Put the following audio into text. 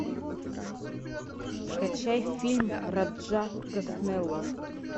скачай фильм раджа госнеллы